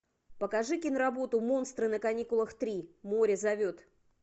покажи киноработу монстры на каникулах три море зовет